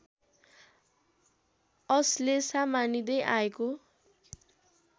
अश्लेषा मानिदैँ आएको